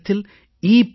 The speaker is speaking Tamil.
என்ற இடத்தில் இ